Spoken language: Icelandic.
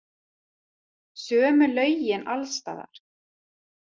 Sömu lögin alls staðar.